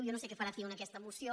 jo no sé què farà ciu en aques·ta moció